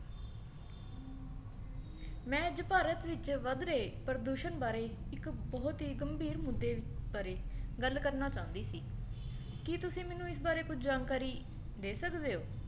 ਮੈਂ ਅੱਜ ਭਾਰਤ ਵਿੱਚ ਵੱਧ ਰਹੇ ਪ੍ਰਦੂਸ਼ਣ ਬਾਰੇ ਇੱਕ ਬਹੁਤ ਹੀ ਗੰਭੀਰ ਮੁੱਦੇ ਬਾਰੇ ਗੱਲ ਕਰਨਾ ਚਾਹੁੰਦੀ ਸੀ ਕੀ ਤੁਸੀ ਮੈਨੂੰ ਇਸ ਬਾਰੇ ਕੁੱਝ ਜਾਣਕਾਰੀ ਦੇ ਸਕਦੇ ਹੋ